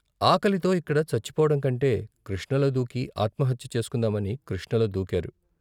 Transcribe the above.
ఆకలితో ఇక్కడ చచ్చిపోవడంకంటే కృష్ణలో దూకి ఆత్మహత్య చేసు కుందామని కృష్ణలో దూకారు.